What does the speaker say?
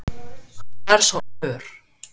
Hann er svo ör!